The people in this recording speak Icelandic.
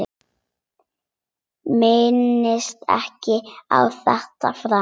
Minnist ekki á þetta framar.